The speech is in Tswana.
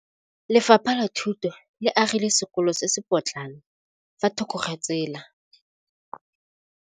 Lefapha la Thuto le agile sekôlô se se pôtlana fa thoko ga tsela.